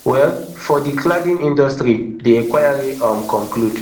well for di cladding industry di inquiry um conclude